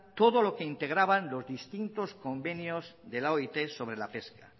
todo lo que integraban los distintos convenios de la oit sobre la pesca